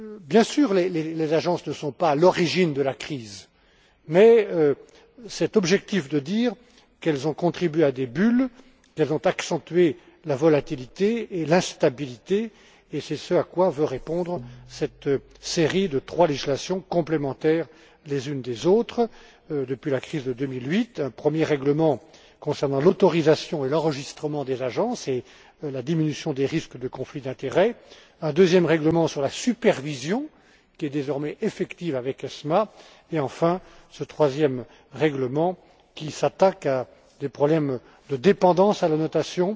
Bien sûr, les agences ne sont pas à l'origine de la crise, mais il est objectif de dire qu'elles ont contribué à des bulles, qu'elles ont accentué la volatilité et l'instabilité, et c'est ce à quoi veut répondre cette série de trois législations complémentaires les unes des autres depuis la crise de 2008 un premier règlement concernant l'autorisation et l'enregistrement des agences et la diminution des risques de conflits d'intérêts, un deuxième règlement sur la supervision, qui est désormais effective avec l'ESMA et, enfin, ce troisième règlement, qui s'attaque à des problèmes de dépendance à la notation,